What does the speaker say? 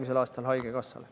Andres Sutt, palun!